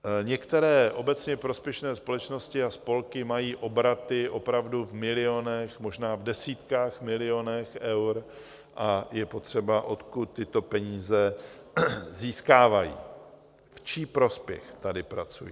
Některé obecně prospěšné společnosti a spolky mají obraty opravdu v milionech, možná v desítkách milionů eur a je potřeba , odkud tyto peníze získávají, v čí prospěch tady pracují.